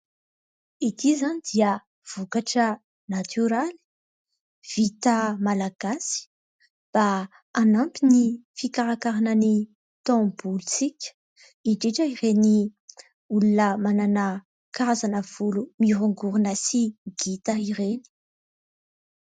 Ity izany dia vokatra natoraly, vita malagasy mba hanampy ny fikarakarana ny taovolontsika, indrindra ireny olona manana karazana volo mihorongorona sy ngita ireny.